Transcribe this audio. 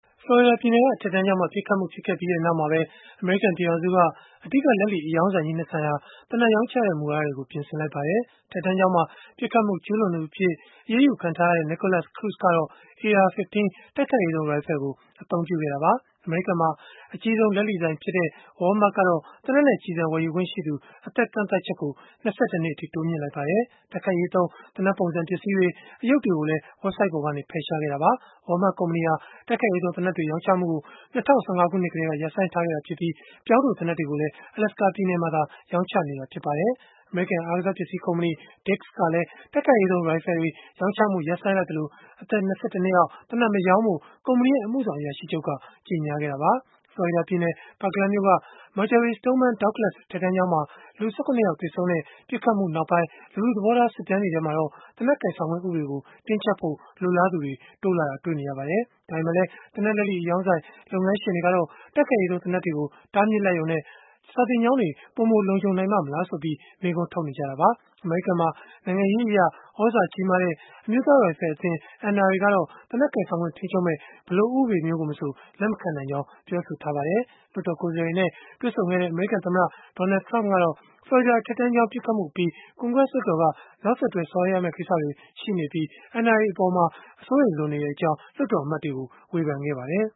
ဖလော်ရီဒါပြည်နယ်က အထက်တန်းကျောင်းမှာ ပစ်ခတ်မှု ဖြစ်ပွားခဲ့ပြီးနောက်မှာပဲ၊ အမေရိကန် ပြည်ထောင်စုက အဓိကလက်လီအရောင်းဆိုင်ကြီး ၂ ဆိုင်ဟာ သေနတ်ရောင်းချတဲ့ မူဝါဒတွေကို ပြင်ဆင်လိုက်ပါတယ်။ အထက်တန်းကျောင်းမှာ ပစ်ခတ်မှု ကျုးလွန်သူအဖြစ် အရေးယူခံထားရတဲ့ Nikolas Cruz ကတော့ AR-15 တိုက်ခိုက်ရေးသုံး ရိုင်ဖယ်ကို အသုံးပြုခဲ့တာပါ။ အမေရိကန်မှာ အကြီးဆုံး လက်လီဆိုင်ဖြစ်တဲ့ Walmart ကတော့ သေနတ်နဲ့ ကျည်ဆံဝယ်ယူခွင့်ရှိသူ အသက်ကန့်သတ်ချက်ကို ၂၁ နှစ်အထိ တိုးမြှင့်လိုက်ပါတယ်။ တိုက်ခိုက်ရေးသုံး သေနတ်ပုံစံ ပစ္စည်းတွေ၊ အရုပ်တွေကိုလည်း ဝဘ်ဆိုဒ်ပေါ်ကနေ ဖယ်ရှားခဲ့တာပါ။ Walmart ကုမ္ပဏီဟာ တိုက်ခိုက်ရေးသုံး သေနတ်တွေ ရောင်းချမှုကို ၂၀၁၅ ခုနှစ်ကတည်းက ရပ်ဆိုင်းထားခဲ့ပြီး၊ ပြောင်းတိုသေနတ်တွေကိုလည်း Alaska ပြည်နယ်မှာသာ ရောင်းချနေတာ ဖြစ်ပါတယ်။ အမေရိကန် အားကစားပစ္စည်း ကုမ္ပဏီ Dick’s ကလည်း တိုက်ခိုက်ရေးသုံး ရိုင်ဖယ်တွေ ရောင်းချမှု ရပ်ဆိုင်းလိုက်သလို၊ အသက် ၂၁ နှစ်အောက် သေနတ်မရောင်းဖို့ ကုမ္ပဏီရဲ့ အမှုဆောင်အရာရှိချုပ်က ကြေညာခဲ့တာပါ။ ဖလော်ရီဒါပြည်နယ် Parkland မြို့က Marjory Stoneman Douglas အထက်တန်းကျောင်းမှာ လူ ၁၇ ယောက် သေဆုံးခဲ့တဲ့ ပစ်ခတ်မှုနောက်ပိုင်း လူထုသဘောထား စစ်တမ်းတွေမှာတော့ သေနတ်ကိုင်ဆောင်ခွင့် ဥပဒေကို တင်းကျပ်ဖို့ လိုလားသူတွေ တိုးလာတာတွေ့ရပါတယ်။ ဒါပေမဲ့လည်း သေနတ်လက်လီအရောင်းဆိုင် လုပ်ငန်းရှင်တွေကတော့ တိုက်ခိုက်ရေးသုံး သေနတ်တွေကို တားမြစ်လိုက်ရုံနဲ့ စာသင်ကျောင်းတွေ ပိုမိုလုံခြုံနိုင်ပါ့မလားဆိုပြီး မေးခွန်းထုတ်နေကြတာပါ။ အမေရိကန်မှာ နိုင်ငံရေးအရ သြဇာကြီးမားတဲ့ အမျိုးသားရိုင်ဖယ်အသင်း ကတော့ သေနတ်ကိုင်ဆောင်ခွင့် ထိန်းချုပ်မယ့် ဘယ်လိုဥပဒေမျိုးကိုမဆို လက်မခံနိုင်ကြောင်း ပြောဆိုထားပါတယ်။ လွှတ်တော်ကိုယ်စားလှယ်တွေနဲ့ တွေ့ဆုံခဲ့တဲ့ အမေရိကန် သမ္မတ Donald Trump ကတော့ ဖလော်ရီဒါ အထက်တန်းကျောင်း ပစ်ခတ်မှုအပြီး ကွန်ဂရက်လွှတ်တော်က နောက်ဆက်တွဲ ဆောင်ရွက်ရမယ့် ကိစ္စတွေ ရှိနေပြီး၊ NRA အပေါ် အစိုးရိမ်လွန်နေကြောင်း လွှတ်တော်အမတ်တွေကို ဝေဖန်ခဲ့ပါတယ်